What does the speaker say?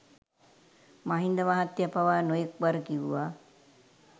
මහින්ද මහත්තය පවා නොයෙක් වර කිව්වා